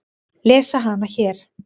Lesa hana hér.